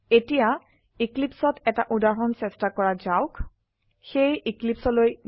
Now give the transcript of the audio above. এতিয়া Eclipseত এটা উদাহৰন চেস্টা কৰা যাওক সেয়ে এক্লিপছে